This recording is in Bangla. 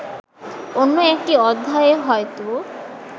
অন্য একটি অধ্যায়ে হয়তো